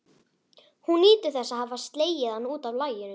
Hún nýtur þess að hafa slegið hann út af laginu.